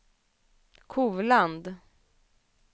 Kovland